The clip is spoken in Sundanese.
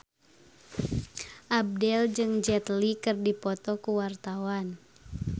Abdel jeung Jet Li keur dipoto ku wartawan